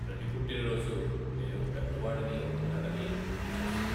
ప్రతి పుట్టినరోజు నేను పెద్దవాడిని అవుతున్నానని గుర్తు చేస్తుంది.